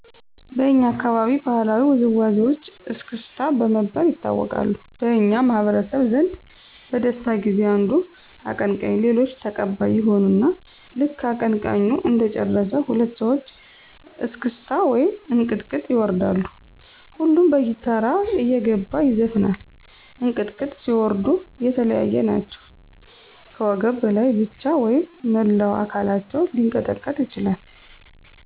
በኛ አካባቢ ባህላዊ ውዝዋዜወች እስክስታ በመባል ይታወቃሉ። በኛ ማህበረሰብ ዘንድ በደስታ ጊዜ አንዱ አቀንቀኝ ሌሎች ተቀባይ ይሆኑና ልክ አቀንቃኙ እንደጨረሰ ሁለት ሰወች እስክታ ወይም እንቅጥቅጥ ይወርዳሉ። ሁሉም በተራ እየገባ ይዘፍናል። እንቅጥቅጥ ሲወርዱ የለያየ ናቸው ከወገብ በላይ ብቻ ወይም መላው አከላቸው ሊቀጠቀጥ ይችላል።